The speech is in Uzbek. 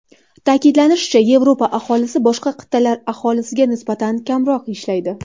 Ta’kidlanishicha, Yevropa aholisi boshqa qit’alar aholisiga nisbatan kamroq ishlaydi.